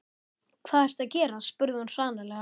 Hvað ertu að gera? spurði hún hranalega.